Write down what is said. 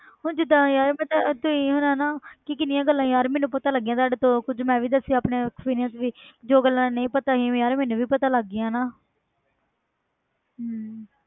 ਹੁਣ ਜਿੱਦਾਂ ਯਾਰ ਮੈਂ ਪਤਾ ਤੁਸੀਂ ਹੁਣ ਹਨਾ ਕਿ ਕਿੰਨੀਆਂ ਗੱਲਾਂ ਯਾਰ ਮੈਨੂੰ ਪਤਾ ਲੱਗੀਆਂ ਤੁਹਾਡੇ ਤੋਂ ਕੁੱਝ ਮੈਂ ਵੀ ਦੱਸੇ ਆਪਣੇ experience ਵੀ ਜੋ ਗੱਲਾਂ ਨਹੀਂ ਪਤਾ ਸੀ ਯਾਰ ਮੈਨੂੰ ਵੀ ਪਤਾ ਲੱਗ ਗਈਆਂ ਨਾ ਹਮ